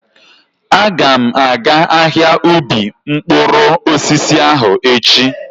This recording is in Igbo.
Aga m aga ahia ubi mkpụrụ osisi ahụ echi.